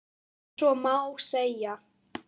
Ef svo má segja.